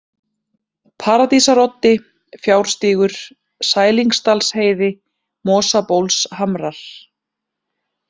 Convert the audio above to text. Paradísaroddi, Fjárstígur, Sælingsdalsheiði, Mosabólshamrar